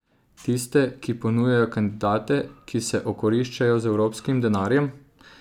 Tiste, ki ponujajo kandidate, ki se okoriščajo z evropskim denarjem?